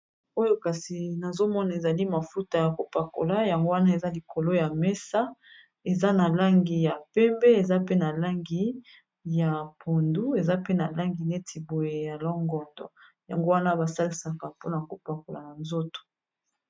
Oyo kasi nazomona ezali mafuta ya kopakola yango wana eza likolo ya mesa eza na langi ya pembe eza pe na langi ya pondu eza pe na langi neti boye ya longondo yango wana basalisaka mpona kopakola na nzoto.